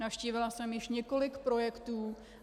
Navštívila jsem již několik projektů.